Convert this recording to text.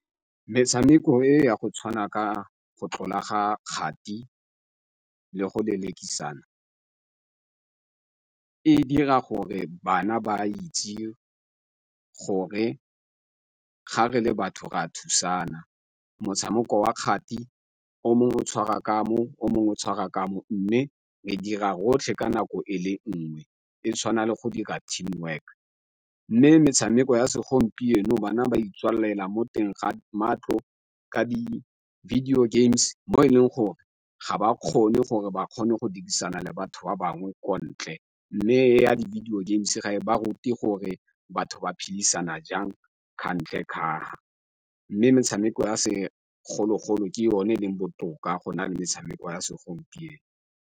Metshameko e ya go tshwana ka go tlola ga kgati le go lelekisana e dira gore bana ba itse gore gare le batho ra thusana. Motshameko wa kgati o mongwe tshwara ka mo o mongwe tshwara ka mo, mme re dira rotlhe ka nako e le nngwe e tshwana le go dira team work. Mme metshameko ya segompieno bana ba itswalela mo teng ga matlo ka di-video games mo e leng gore ga ba kgone gore ba kgone go dirisana le batho ba bangwe ko ntle. Mme e ya di-video games ga e ba ruti gore batho ba phedisana jang ka fa ntle kafa, mme metshameko ya segologolo ke o ne leng botoka go na le metshameko ya segompieno.